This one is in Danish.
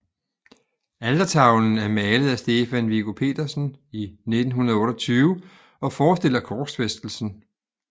Altertavlen er malet af Stefan Viggo Petersen i 1928 og forestiller korsfæstelsen